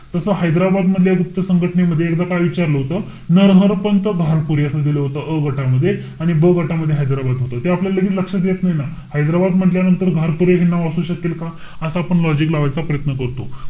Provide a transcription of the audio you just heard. तस हैदराबाद मधल्या गुप्त संघटनेमध्ये एकदा काय विचारलं होत? नरहर पंत घारपुरे असं दिल होत अ गटामध्ये आणि ब घटामध्ये हैदराबाद होतं. ते आपल्याला लगेच लक्षात येत नाई ना. हैदराबाद म्हण्टल्यानंतर घारपुरे हे एक नाव असू शकेल का? असा आपण logic लावायचा प्रयत्न करतो.